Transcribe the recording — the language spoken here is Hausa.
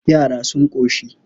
Yara sun ƙoshi.